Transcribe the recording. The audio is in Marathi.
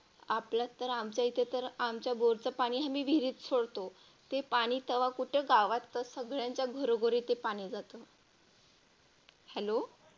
आपल्या तर आमच्या इथे तर आमच्या बोरच पाणी आम्ही विहिरीत सोडतो ते पाणी तवा कुठं गावात सगळ्यांच्या घरोघरी ते पाणी जातं. Hello